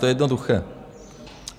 To je jednoduché.